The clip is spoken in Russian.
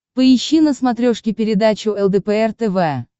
поищи на смотрешке передачу лдпр тв